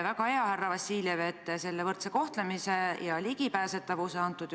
Te viitasite oma vastuses sellele, et surmaga seotud otseste kulude katmine on justkui tagatud.